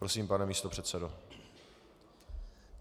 Prosím, pane místopředsedo.